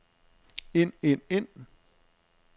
ind ind ind